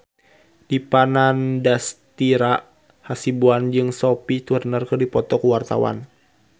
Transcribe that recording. Dipa Nandastyra Hasibuan jeung Sophie Turner keur dipoto ku wartawan